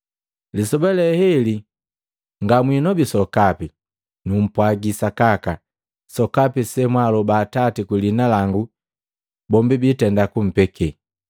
Lisoba le heli ngamwinobi sokapi. Numpwagi sakaka, sokapi semwaaloba Atati kwi liina langu, jombi jiitenda kumpeke.